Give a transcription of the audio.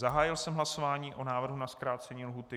Zahájil jsem hlasování o návrhu na zkrácení lhůty.